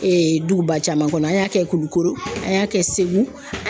Ee duguba caman kɔnɔ, an y'a kɛ Kulukoro an y'a kɛ Segu